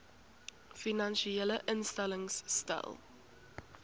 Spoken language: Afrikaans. finansiële instellings stel